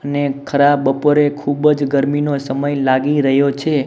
અને ખરા બપોરે ખૂબ જ ગરમીનો સમય લાગી રહ્યો છે.